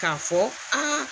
K'a fɔ aa